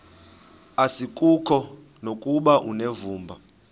asikuko nokuba unevumba